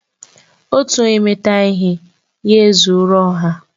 Otu onye meta ihe, ya ezuọro ọha